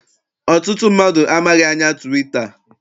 Ọtụtụ mmadụ amaghị anya twita.